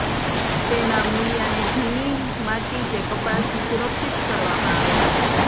તેના મૂળિયાને ભીની માટી કે કપડાથી સુરક્ષિત કરવામાં આવે છે